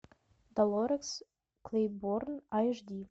долорес клейборн аш ди